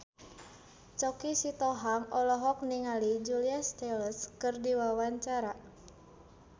Choky Sitohang olohok ningali Julia Stiles keur diwawancara